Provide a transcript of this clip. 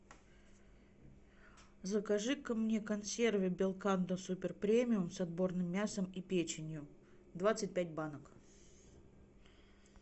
закажи ка мне консервы белкандо суперпремиум с отборным мясом и печенью двадцать пять банок